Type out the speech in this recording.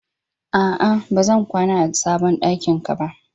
A'a, ba zan kwana a sabon ɗakin ka ba.